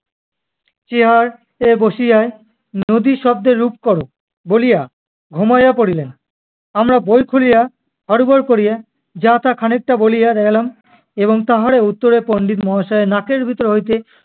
chair এ বসিয়া নদী শব্দের রূপ করো বলিয়া ঘুমাইয়া পড়িলেন। আমরা বই খুলিয়া হরবর করিয়া যা-তা খানিকটা বলিয়া গেলাম এবং তাহার উত্তরে পণ্ডিত মহাশয় এর নাকের ভেতর হইতে-